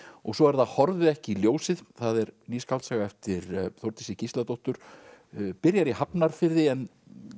og svo er það horfið ekki í ljósið það er ný skáldsaga eftir Þórdísi Gísladóttur byrjar í Hafnarfirði en